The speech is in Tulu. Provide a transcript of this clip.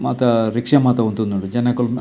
ಮಾತ ರಿಕ್ಷಾ ಮಾತ ಉಂತೊಂದುಂಡು ಜನಕುಲ್ನ.